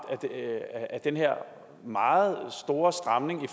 af den her meget store stramning i